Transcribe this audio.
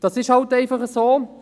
Das ist nun einmal so.